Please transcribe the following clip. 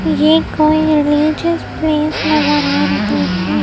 ये कोई religious place नजर आ रही है।